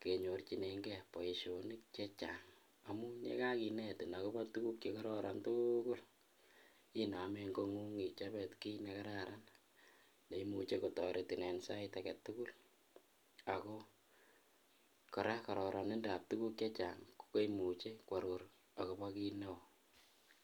kenyorchinenge boishonik chechang amun yekakinetin akobo tukuk chekororon tukul inomen kongunget ichobe kiit nekararan neimuche kotoretin en sait aketukul ak ko kora kororonindab tukuk chechang koimuche kworor akobo kiit neo.